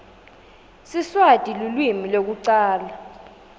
siswati lulwimi lwekucala